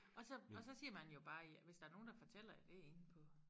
Og så og så siger man jo bare ja hvis der nogen der fortæller det inde på